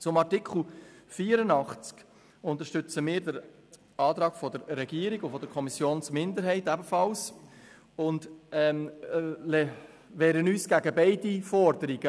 Zu Artikel 84: Wir unterstützen den Antrag der Regierung und der Kommissionsminderheit und wehren uns gegen beide Forderungen: